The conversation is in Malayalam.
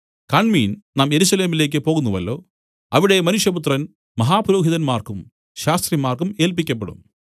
കാണ്മീൻ നാം യെരൂശലേമിലേക്ക് പോകുന്നുവല്ലോ അവിടെ മനുഷ്യപുത്രൻ മഹാപുരോഹിതന്മാർക്കും ശാസ്ത്രിമാർക്കും ഏല്പിക്കപ്പെടും